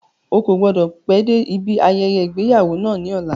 Ó kò gbọ́dọ̀ pẹ́ dé ibi ayẹyẹ ìgbéyàwó náà ní ọ̀la.